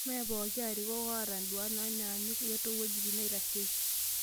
Meepoki arikok oata induat naanyaanyok to weitin naitasheki